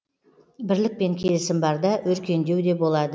бірлік пен келісім барда өркендеу де болады